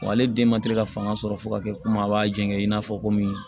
Wa ale den man teli ka fanga sɔrɔ fo ka kɛ komi a b'a jɛngɛ i n'a fɔ komi